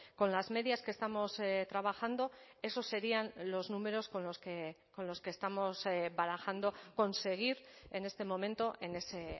con las medias que estamos trabajando esos serían los números con los que estamos barajando conseguir en este momento en ese